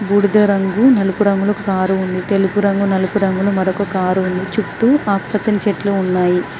బూడిద రంగు నలుపు రంగులో కారు ఉంది తెలుపు రంగు నలుపు రంగులో మరొక కారు ఉంది చుట్టూ ఆకుపచ్చని చెట్లు ఉన్నాయి.